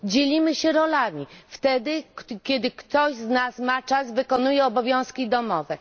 Dzielimy się rolami wtedy kiedy ktoś z nas ma czas, wykonuje obowiązki domowe.